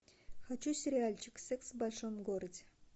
хочу сериальчик секс в большом городе